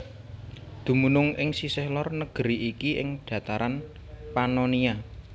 Dumunung ing sisih lor negeri iki ing dataran Pannonia